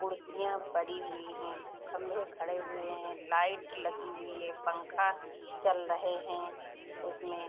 कुर्सियाँ पड़ी हुई हैं खम्बे खड़े हुए है लाइट लगी हुई है पंखा चल रहे हैं उसमें।